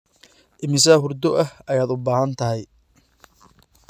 Immisa hurdo ah ayaad u baahan tahay?